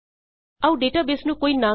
ਆਉ ਡੇਟਾਬੇਸ ਨੂੰ ਕੋਈ ਨਾਮ